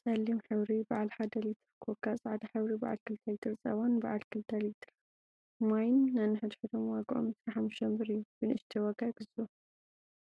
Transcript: ፀሊም ሕብሪ በዓል ሓደ ሊትር ኮካ፣ ፃዕዳ ሕብሪ በዓል 2 ሊትር ፀባን በዓል 2 ሊትር ማይን ነንሕድሕዶም ዋግኦም 25 ብር እዩ፡፡ “ብንእሽተይ ዋጋ ይግዝኡ”